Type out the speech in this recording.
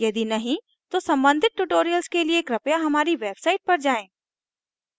यदि नहीं तो सम्बंधित tutorials के लिए कृपया हमारी website पर जाएँ